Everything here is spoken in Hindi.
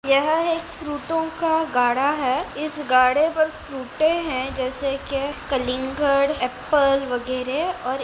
यह एक फ्रूटो का गाड़ा है इस गाड़े पर फ्रूटे हैं जैसे के कलिंगड़ एप्पल वगैरे और --